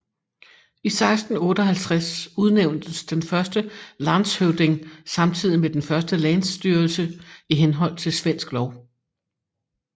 I 1658 udnævntes den første landshövding samtidigt med den første länsstyrelse i henhold til svensk lov